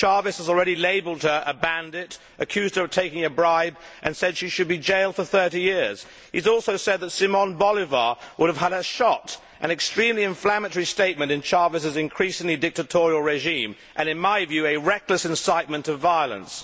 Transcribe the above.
Chávez has already labelled her a bandit, accused her of taking a bribe, and said she should be jailed for 30 years. He has also said that Simón Bolívar would have had her shot, an extremely inflammatory statement in Chávez's increasingly dictatorial regime and, in my view, a reckless incitement to violence.